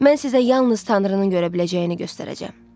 Mən sizə yalnız Tanrının görə biləcəyini göstərəcəm.